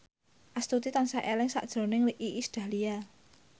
Astuti tansah eling sakjroning Iis Dahlia